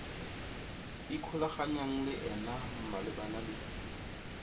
ikgolaganyang le ena malebana le